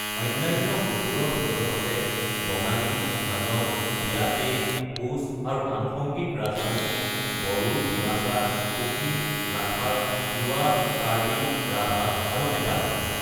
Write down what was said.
অন্যান্য গোটবোৰৰ ভিতৰত আছে বঙালী, হাজং, বিয়াটে, কোচ আৰু আনুষংগিক ৰাজবংশী, বড়ো, ডিমাছা, কুকি, লাখাৰ, তিৱা, কাৰ্বি, ৰাভা আৰু নেপালী।